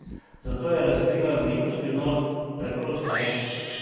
Zato je razkrila veliko "skrivnost: "Preprosto je.